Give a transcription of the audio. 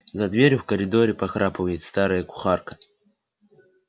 за дверью в коридоре похрапывает старая кухарка